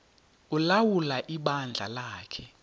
ulawula ibandla lakhe